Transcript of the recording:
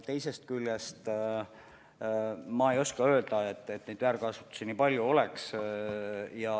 Teisest küljest, ma ei oska öelda, et neid väärkasutusi nii palju oleks.